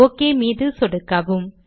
okay மீது சொடுக்கவும்